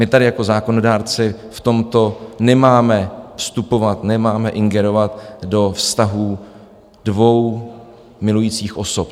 My tady jako zákonodárci v tomto nemáme vstupovat, nemáme ingerovat do vztahů dvou milujících osob.